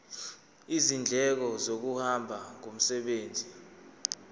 izindleko zokuhamba ngomsebenzi